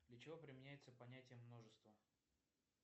для чего применяется понятие множество